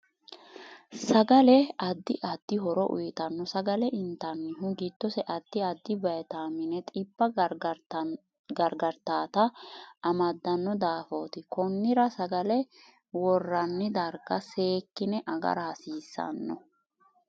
Sagale addi addi horo uyiitanno sagale intanihu giddose addi addi wayiitamine xibba gargataata amadanno dafooti konira sagale woranni darga seekine agara hasiisanno